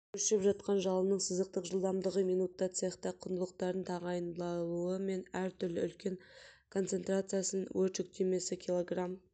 өршіп жатқан жалынның сызықтық жылдамдығы минутта цехта құндылықтардың тағайындалуы мен әр-түрлі үлкен концентрациясы өрт жүктемесі килограмм